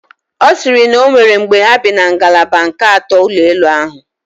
Ọ siri na onwere mgbe ha bi na ngalaba nke ato n'ụlọ elu ahụ